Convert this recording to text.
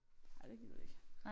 Ej det gider vi ikke